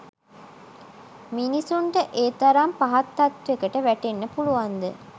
මිනිස්සුන්ට ඒ තරම් පහත් තත්ත්වෙකට වැටෙන්න පුළුවන් ද?